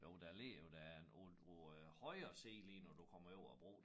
Jo der ligger jo der en på på øh højre side lige når du kommer over æ bro